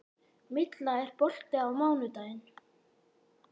Milla, er bolti á mánudaginn?